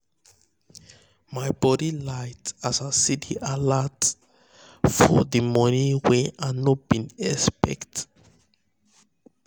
my body light as i see d alert for d money wen i no been expect